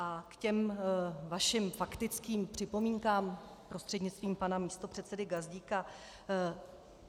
A k těm vašim faktickým připomínkám prostřednictvím pana místopředsedy Gazdíka.